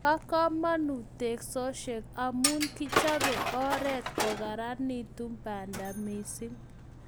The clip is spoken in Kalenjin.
Bo kamanut teksosiek amu kichobe oret akokararanitu banda mising